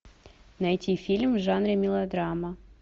найти фильм в жанре мелодрама